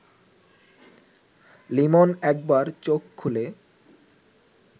লিমন একবার চোখ খুলে